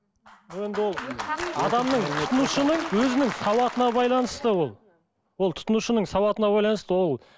енді ол адамның тұтынушының өзінің сауатына байланысты ол ол тұтынушының сауатына байланысты ол